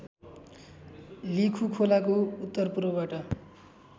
लिखु खोलाको उत्तरपूर्वबाट